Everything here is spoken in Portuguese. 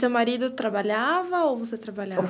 E seu marido trabalhava ou você trabalhava?